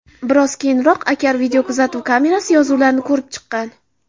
Biroq keyinroq Akar videokuzatuv kamerasi yozuvlarini ko‘rib chiqqan.